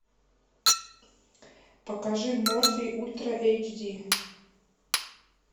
покажи морфий ультра эйч ди